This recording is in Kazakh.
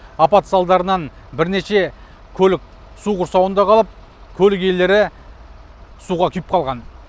апат салдарынан бірнеше көлік су құрсауында қалып көлік иелері суға күйіп қалған